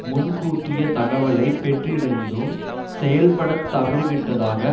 முன்கூட்டிய தகவலைப் பெற்றிருந்தும் செயல்பட தவறிவிட்டதாக